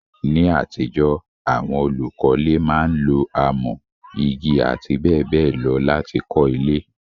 Ní àtijọ́, àwon olùkọ́le máa n lo amọ́, igi àti béèbéè lo láti kó ilé